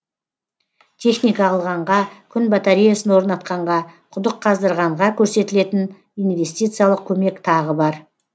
техника алғанға күн батареясын орнатқанға құдық қаздырғанға көрсетілетін инвестициялық көмек тағы бар